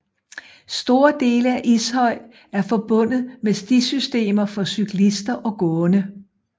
Store dele af Ishøj er forbundet med stisystemer for cyklister og gående